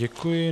Děkuji.